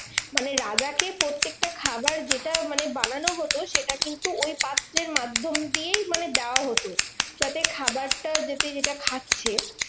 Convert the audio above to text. মানে রাজাকে প্রত্যেকটা খাবার যেটা মানে বানানো হতো সেটা কিন্তু ওই পাত্রের মাধ্যম দিয়েই মানে দেওয়া হতো। যাতে খাবারটা যাতে যেটা খাচ্ছে